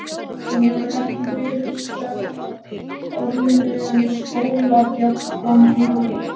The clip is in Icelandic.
Hann hefur ekki fyrr sleppt orðinu en skólabjallan hringir.